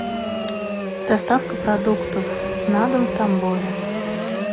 доставка продуктов на дом в тамбове